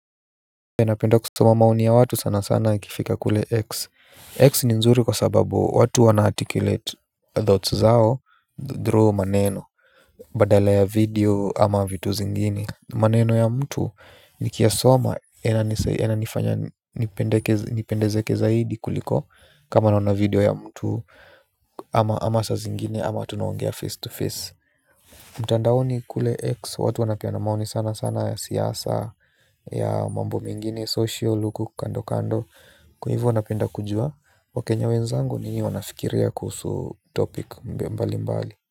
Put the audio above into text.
Ninapenda kusoma maoni ya watu sana sana ikifika kule X X ni nzuri kwa sababu watu wanaarticulate thoughts zao through maneno. Badala ya video ama vitu zingini maneno ya mtu nikiyasoma yananifanya nipendezeke zaidi kuliko kama naona video ya mtu ama saa zingine tunaongea face to face. Mtandaoni kule X Watu wanapeana maoni sana sana ya siasa ya mambo mengine Social huku kando kando. Kwa hivyo napenda kujua wakenya wenzangu ni nini wanafikiria kuhusu topic mbalimbali.